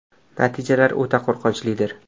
Natijalar o‘ta qo‘rqinchlidir.